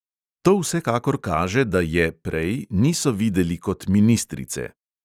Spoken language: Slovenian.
To vsekakor kaže, da je niso videli kot ministrice.